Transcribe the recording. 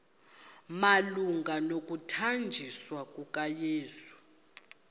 malunga nokuthanjiswa kukayesu